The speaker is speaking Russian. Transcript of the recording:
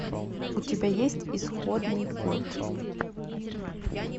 у тебя есть исходный код